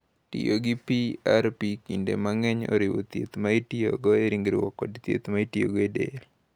Tiyo gi PRP kinde mang’eny oriwo thieth ma itiyogo e ringruok kod thieth ma itiyogo e del.